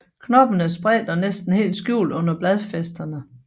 Knopperne er spredte og næsten helt skjult under bladfæsterne